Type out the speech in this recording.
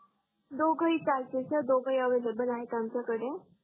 दोगही चालते सर दोगही एवलेबल आहेत आमच्या कडे